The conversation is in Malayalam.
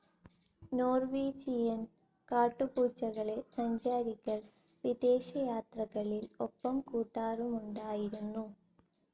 നോർവീജിയൻ കാട്ടുപൂച്ചകളെ സഞ്ചാരികൾ വിദേശയാത്രകളിൽ‌ ഒപ്പംകൂട്ടാറുമുണ്ടായിരുന്നു.